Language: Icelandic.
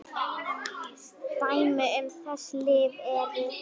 Dæmi um þessi lyf eru